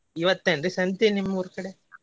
ಇವತ್ತ ಏನ್ರೀ ಸಂತಿ ನಿಮ್ ಊರ್ ಕಡೆ?